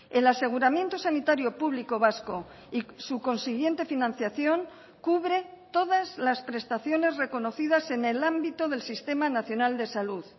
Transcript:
el aseguramiento sanitario público vasco y su consiguiente financiación cubre todas las prestaciones reconocidas en el ámbito del sistema nacional de salud